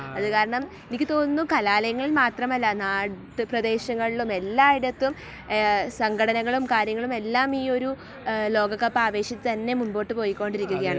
അതുകാരണം, എനിക്ക് തോന്നുന്നു കലാലയങ്ങളിൽ മാത്രമല്ല നാട്ടുപ്രദേശങ്ങളിലും എല്ലായിടത്തും സംഘടനകളും കാര്യങ്ങളും എല്ലാം ഈ ഒരു ലോകകപ്പ് ആവേശത്തിൽ തന്നെ മുന്നോട്ടു പോയ്കൊണ്ടിരിക്കുകയാണ്.